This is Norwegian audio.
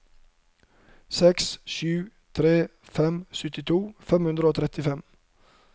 sju seks tre fem syttito fem hundre og trettifem